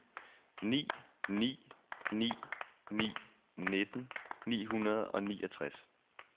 ni ni ni ni nitten ni hundrede og niogtres